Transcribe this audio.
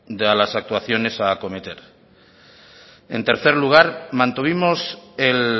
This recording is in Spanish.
de las actuaciones a cometer en tercer lugar mantuvimos el